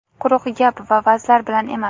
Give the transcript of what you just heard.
quruq gap va vazlar bilan emas.